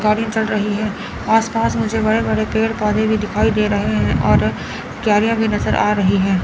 गाड़ी चल रही है और आस पास मुझे बड़े-बड़े पेड़ पौधे भी दिखाई दे रहे हैं और क्यारियाँ भी नज़र आ रही हैं।